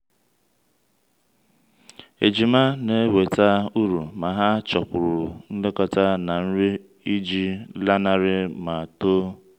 ejima na-eweta uru ma ha chọkwuru nlekọta na nri iji lanarị ma too.